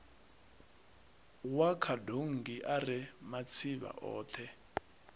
wa khadonngi ari matsivha othe